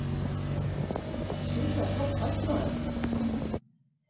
Sjúklega flott höll, maður!